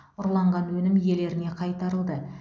ұрланған өнім иелеріне қайтарылды